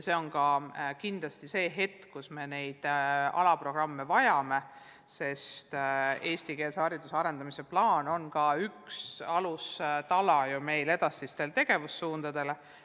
See on ka kindlasti aeg, kus me neid alaprogramme vajame, sest eestikeelse hariduse arendamise plaan on üks alustala meie edasistele tegevussuundadele.